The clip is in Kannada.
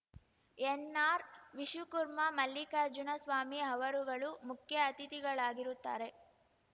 ಎನ್‌ಆರ್‌ ವಿಶುಕುರ್ಮಾ ಮಲ್ಲಿಕಾರ್ಜುನ ಸ್ವಾಮಿ ಅವರುಗಳು ಮುಖ್ಯ ಅತಿಥಿಗಳಾಗಿರುತ್ತಾರೆ